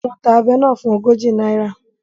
Wọ́n ta abẹ náà fún ogójì náírà